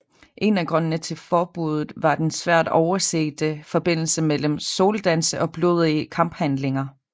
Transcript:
En af grundene til forbuddet var den svært oversete forbindelse mellem soldanse og blodige kamphandlinger